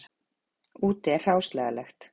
Úti er hráslagalegt.